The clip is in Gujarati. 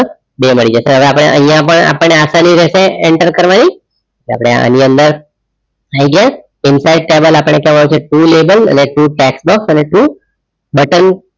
બે મળી જશે હવે આપણે અહીંયા પણ આપણને આસાની રહેશે enter કરવાની આપણે આની અંદર header inside table આપણે કહેવાય છે to label અને to tax box અને to button